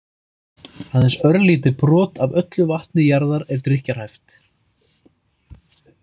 Aðeins örlítið brot af öllu vatni jarðar er drykkjarhæft.